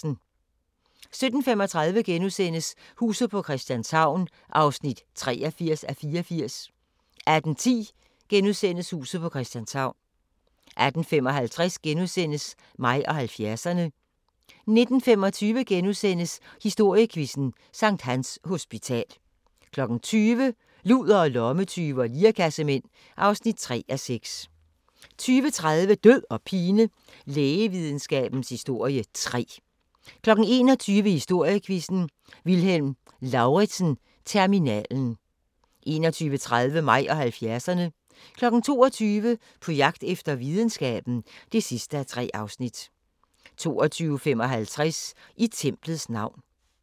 17:35: Huset på Christianshavn (83:84)* 18:10: Huset på Christianshavn * 18:55: Mig og 70'erne * 19:25: Historiequizzen: Sct. Hans Hospital * 20:00: Ludere, lommetyve og lirekassemænd (3:6) 20:30: Død og pine: Lægevidenskabens historie 3 21:00: Historiequizzen: Vilhelm Lauritzen-terminalen 21:30: Mig og 70'erne 22:00: På jagt efter videnskaben (3:3) 22:55: I templets navn